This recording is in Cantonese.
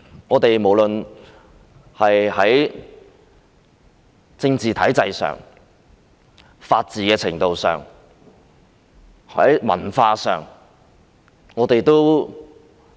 香港無論在政治體制、法治程度、文化上都如政府